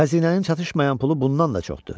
Xəzinənin çatışmayan pulu bundan da çoxdur.